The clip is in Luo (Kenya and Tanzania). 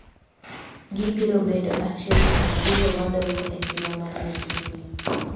Gibiro bedo achiel kuom gigo madongo e ngima mar nyathini.